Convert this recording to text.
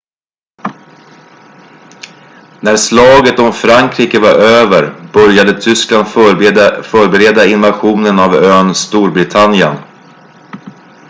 när slaget om frankrike var över började tyskland förbereda invasionen av ön storbritannien